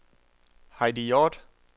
Heidi Hjort